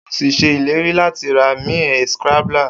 O si se ileri lati ra mi a scrambler.